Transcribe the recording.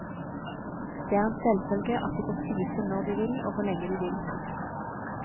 Det er en selvfølge at de får spise når de vil og hvor lenge de vil. punktum